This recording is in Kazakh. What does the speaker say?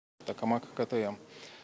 токамак ктм